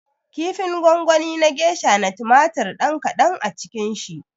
Kifin gongonin gesha na tumatir ɗan kaɗan a cikin shi